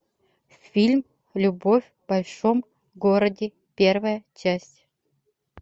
фильм любовь в большом городе первая часть